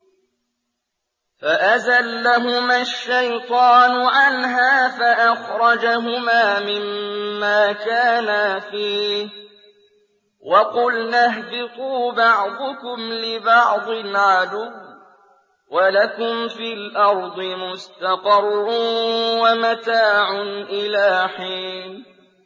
فَأَزَلَّهُمَا الشَّيْطَانُ عَنْهَا فَأَخْرَجَهُمَا مِمَّا كَانَا فِيهِ ۖ وَقُلْنَا اهْبِطُوا بَعْضُكُمْ لِبَعْضٍ عَدُوٌّ ۖ وَلَكُمْ فِي الْأَرْضِ مُسْتَقَرٌّ وَمَتَاعٌ إِلَىٰ حِينٍ